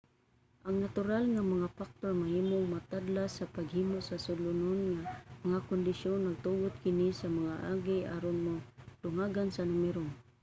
ang natural nga mga factor mahimong motadlas sa paghimo og sulondon nga mga kondisyon nagtugot kini sa mga algae aron madungagan sa numero